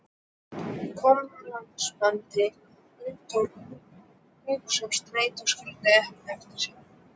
Kom labbandi út úr hrúgu sem strætó skildi eftir sig.